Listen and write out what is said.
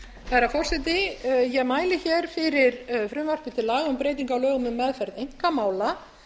herra forseti ég mæli fyrir frumvarpi til laga um breytingu á lögum um meðferð einkamála